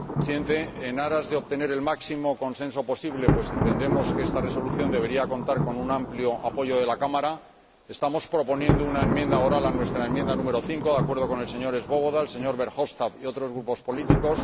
Señor Presidente, en aras de obtener el máximo consenso posible, pues entendemos que esta Resolución debería contar con un amplio apoyo de la Cámara, proponemos una enmienda oral a nuestra enmienda número 5, de acuerdo con el señor Swoboda, el señor Verhofstadt y otros grupos políticos.